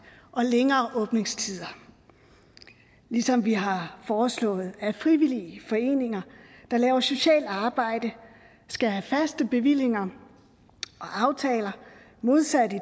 og længere åbningstider ligesom vi har foreslået at frivillige foreninger der laver socialt arbejde skal have faste bevillinger og aftaler modsat i